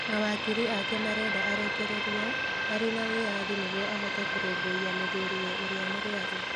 Mawakiri ake marenda arekererio arĩ na wĩyathi nĩguo ahote kũrũmbũiya mũthuriwe ũrĩa mũrũaru.